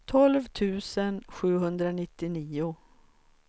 tolv tusen sjuhundranittionio